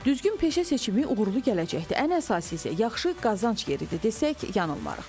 Düzgün peşə seçimi uğurlu gələcəkdir, ən əsası isə yaxşı qazanc yeridir desək yanılmarıq.